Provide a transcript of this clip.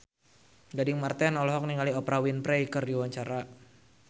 Gading Marten olohok ningali Oprah Winfrey keur diwawancara